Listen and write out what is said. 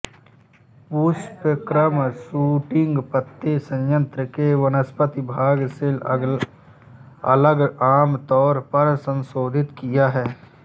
पुष्पक्रम शूटिंग पत्ते संयंत्र के वनस्पति भाग से अलग आम तौर पर संशोधित किया है